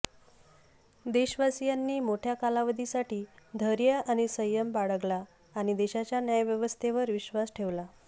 देशवासीयांनी मोठ्या कालावधीसाठी धैर्य आणि संयम बाळगला आणि देशाच्या न्यायव्यवस्थेवर विश्वास ठेवला